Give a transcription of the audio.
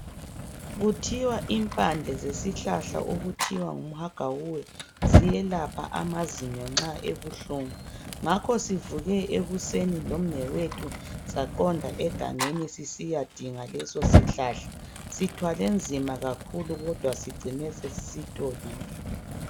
Kuthiwa impande zesihlahla okuthiwa ngumhagawuwe ziyelapha amazinyo nxa ebuhlungu. Ngakho sivuke ekuseni lomnewethu saqonda egangeni sisiyadinga leso sihlahla. Sithwele nzima kakhulu, kodwa sigcine sesisitholile.